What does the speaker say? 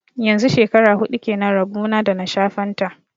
Yanzu shekara huɗu kenan rabo na da na sha fanta